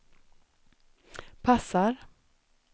passar